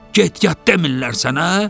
Get yat demirlər sənə?